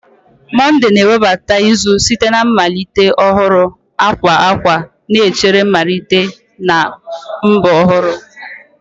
Monde na-ewebata izu site na mmalite ọhụrụ, akwa akwa na-echere mmalite na mbọ ọhụrụ